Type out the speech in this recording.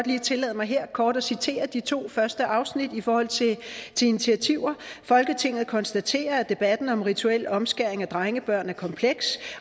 lige tillade mig her kort at citere de to første afsnit i forhold til initiativer folketinget konstaterer at debatten om rituel omskæring af drengebørn er kompleks